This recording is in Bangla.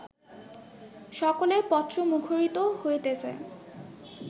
সকলের পত্র মুখরিত হইতেছে